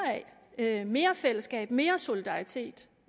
af mere fællesskab mere solidaritet